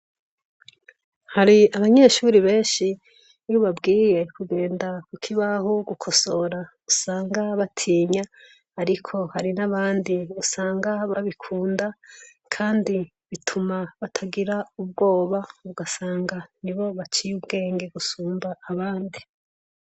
Hari abanyeshuri benshi ni bobabwiye kugenda, kuko ibaho gukosora gusanga batinya, ariko hari n'abandi usanga babikunda, kandi bituma batagira ubwoba ugasanga ni bo baciye ubwenge gusumba abandi.